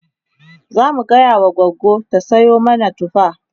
zamu gaya wa gogo ta Sayo mana tufa